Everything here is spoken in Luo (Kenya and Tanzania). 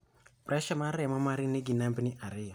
pressure mar remo mari nigi nambni ariyo